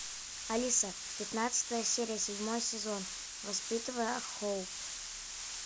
алиса пятнадцатая серия седьмой сезон воспитывая хоуп